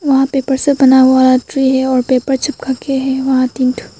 वहां पेपर से बना हुआ ट्री है और पेपर चिपक के हैं वहां तीन ठो।